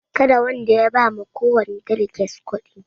Karwanda ya ba ma kowani daliges kuɗi